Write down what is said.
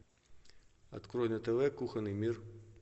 открой на тв кухонный мир